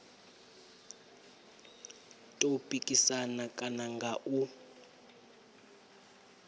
tou pikisana kana nga u